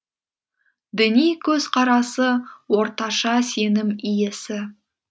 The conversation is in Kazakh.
діни көзқарасы орташа сенім иесі